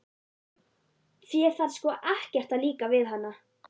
Þér þarf sko ekkert að líka við hana.